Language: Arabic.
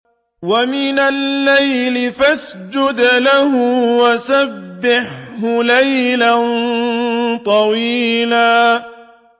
وَمِنَ اللَّيْلِ فَاسْجُدْ لَهُ وَسَبِّحْهُ لَيْلًا طَوِيلًا